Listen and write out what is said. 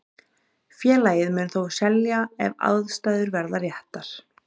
Félagið mun þó selja ef aðstæður verða réttar.